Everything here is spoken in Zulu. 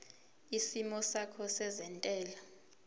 isimo sakho sezentela